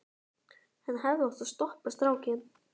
Hann hefði átt að stoppa strákinn.